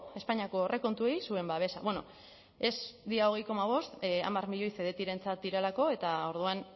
espainako aurrekontuei zuen babesa bueno ez dira hogei bost hamar milioi cedetirentzat direlako eta orduan